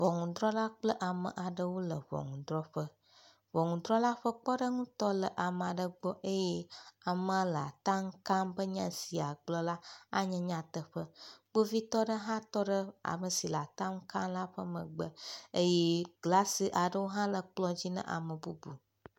Ʋɔnuɖrɔla kple ame aɖewo le ʋɔnuɖrɔƒe, ʋɔnuɖrɔla ƒe kpeɖeŋutɔ le ame aɖe gbɔ eye amea le atam ka be nyasi yeagblɔ la anye nyateƒe. Kpovitɔ ɖe hã tɔ ɖe amesi le atam ka la ƒe megbe eye glasiaɖewo hã le kplɔ dzi na ame bubu.